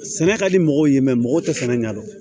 Sɛnɛ ka di mɔgɔw ye mɛ mɔgɔw tɛ sɛnɛ ɲɛdɔn